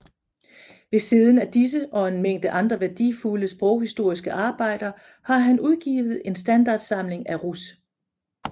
Ved Siden af disse og en Mængde andre værdifulde sproghistoriske Arbejder har han udgivet en Standardsamling af russ